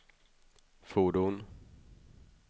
fordon